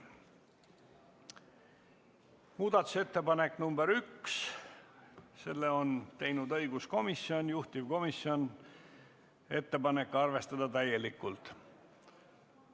Muudatusettepaneku nr 1 on teinud õiguskomisjon, juhtivkomisjoni ettepanek on arvestada seda täielikult.